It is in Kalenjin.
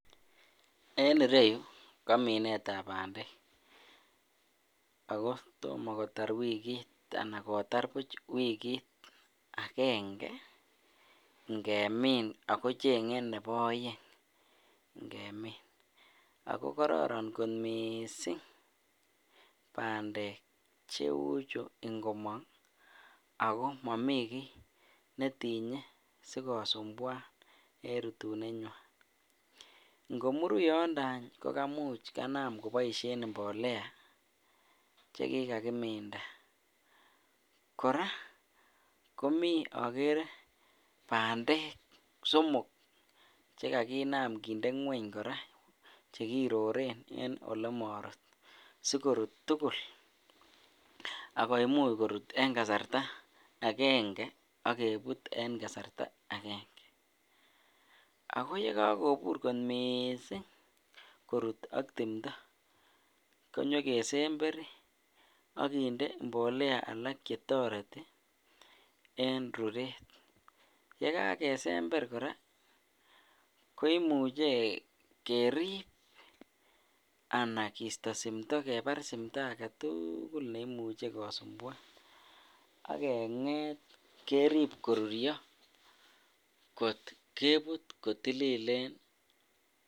En ireyuu ko minetab bandek ak ko tomo kotar wikit anan kotar buch wikit akeng'e ng'emin ak ko cheng'e nebo oeng ng'emin ak ko kororon mising bandek cheuchu ngomong ak ko momii kii netinyee sikosumbwan en rutunenywan, ng'omuru yondo aany kokamuch kanam koboishen mbolea chekikakkminda, kora komii okere bandek somok chekakinam kinde ngweny kora chekororon olemorut sikorut tukul ak koimuch korut en kasarta akeng'e ak kebut en kasarta akeng'e, ak ko yekokobur kot mising korut ak timto konyo kesember ak kinde mbolea alak chetoreti en ruret, yekakesember kora koimuche kerib anan kisto simto kebar simto aketukul neimuje kosumbwan ak kenget kerib koruryo kot kebut kotililen.